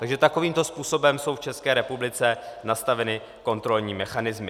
Takže takovýmto způsobem jsou v České republice nastaveny kontrolní mechanismy.